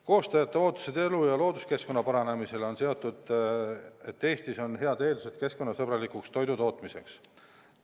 Koostajate ootused elu- ja looduskeskkonna paranemisele on seotud sellega, et Eestis on head eeldused keskkonnasõbralikuks toidutootmiseks.